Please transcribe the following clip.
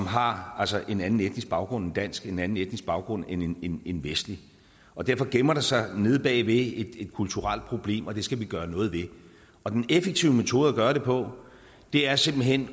har en anden etnisk baggrund end dansk en anden etnisk baggrund end en en vestlig og derfor gemmer der sig nede bagved et kulturelt problem og det skal vi gøre noget ved og den effektive metode at gøre det på er simpelt hen